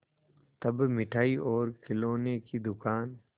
तब मिठाई और खिलौने की दुकान